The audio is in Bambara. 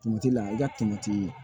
la i ka